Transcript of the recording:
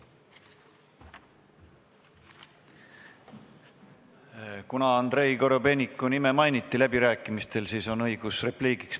Kuna Andrei Korobeiniku nime mainiti läbirääkimistel, siis on õigus repliigiks.